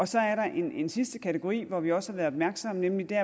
så er der en sidste kategori hvor vi også har været opmærksomme nemlig der